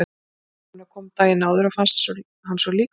Tengdamamma hennar kom daginn áður og fannst hann svo líkur sér.